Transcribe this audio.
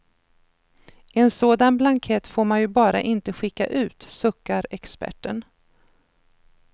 En sådan blankett får man ju bara inte skicka ut, suckar experten.